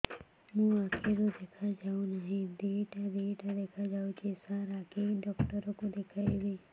ମୋ ଆଖିକୁ ଦେଖା ଯାଉ ନାହିଁ ଦିଇଟା ଦିଇଟା ଦେଖା ଯାଉଛି ସାର୍ ଆଖି ଡକ୍ଟର କୁ ଦେଖାଇବି